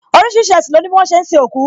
Orísìírísìí ẹṣin lo ni bi wọn ṣe ń sin òkú